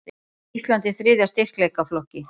Ísland í þriðja styrkleikaflokki